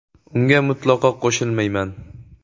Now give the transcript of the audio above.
Unga mutlaqo qo‘shilmayman.